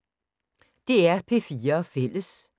DR P4 Fælles